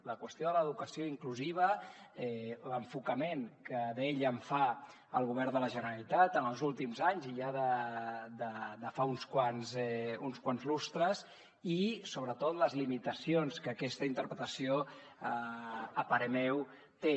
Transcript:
la qüestió de l’educació inclusiva l’enfocament que d’ella en fa el govern de la generalitat en els últims anys i ja de fa uns quants lustres i sobretot les limitacions que aquesta interpretació a parer meu té